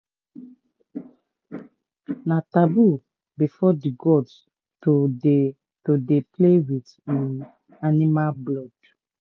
na taboo before the gods to dey to dey play with um animal blood